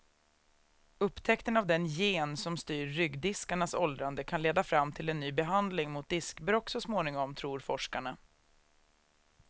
Upptäckten av den gen som styr ryggdiskarnas åldrande kan leda fram till en ny behandling mot diskbråck så småningom, tror forskarna.